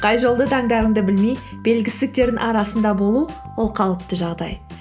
қай жолды таңдарыңды білмей белгісіздіктердің арасында болу ол қалыпты жағдай